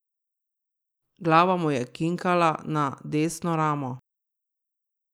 Glava mu je kinkala na desno ramo.